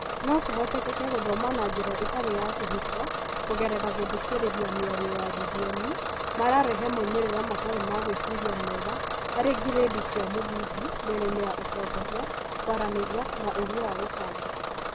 No kũhotekeke gũthoma na njĩra ĩtarĩ ya kĩhiko kũgerera gũthikĩrĩria mĩario ya rũthiomi mararehe moimĩrĩra matari ma guĩciria mega harĩ ngirĩndi cia mũthingi mĩenainĩ ya ũtongoria, kũaranĩria na ũgĩ wa gũbanga.